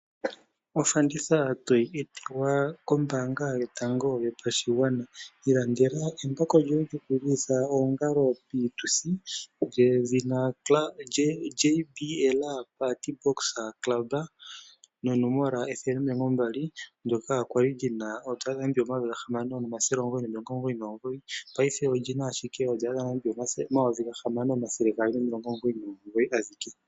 Ofanditha toyi etelwa kombaanga yotango yopashigwana. Ilandela embako lyoye lyokulilitha oongalo piituthi lyedhina JBL Partybox Club lyonomola 120 ndoka kwali li na N$6999, paife olyina ashike N$6299.